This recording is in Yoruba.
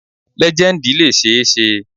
Lejendi le ṣee ṣe